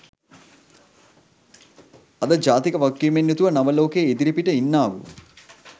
අද ජාතික වගකීමෙන් යුතුව නව ලෝකේ ඉදිරිපිට ඉන්නාවූ